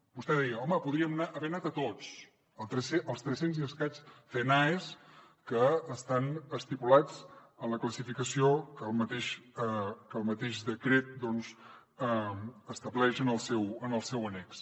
vostè deia home podríem haver anat a tots als trescents i escaig cnaes que estan estipulats en la classificació que el mateix decret doncs estableix en el seu en el seu annex